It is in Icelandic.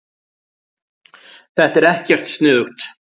Þetta er ekkert sniðugt.